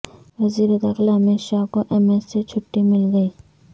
وزیرداخلہ امت شاہ کو ایمس سے چھٹی مل گئی